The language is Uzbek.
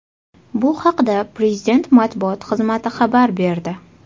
Bu haqda Prezident matbuot xizmati xabar berdi .